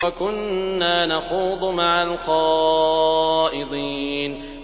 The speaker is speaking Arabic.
وَكُنَّا نَخُوضُ مَعَ الْخَائِضِينَ